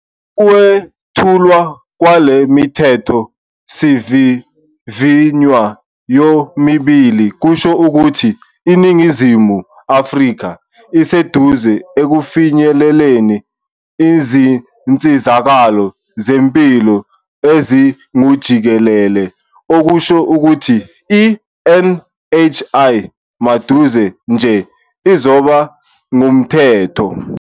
Ukwethulwa kwale Mithetho sivivinywa yomibili kusho ukuthi iNingizimu Afrika isiseduze ekufinyeleleni izinsizakalo zempilo ezingujikelele okusho ukuthi i-NHI maduze nje izoba ngumthetho.